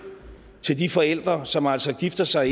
til de forældre som altså gifter sig